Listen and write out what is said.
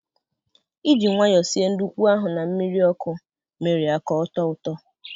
Iji nwayọ sie ndukwu ahụ na mmiri ọkụ mere ya ka ọ tọọ ụtọ